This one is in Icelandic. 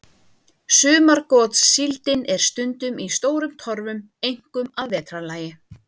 Sumargotssíldin er stundum í stórum torfum, einkum að vetrarlagi.